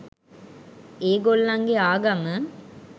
ඒගොල්ලන්ගෙ ආගම